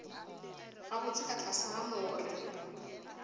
gabotse ka tlase ga more